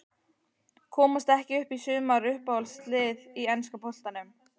Komast ekki upp í sumar Uppáhalds lið í enska boltanum?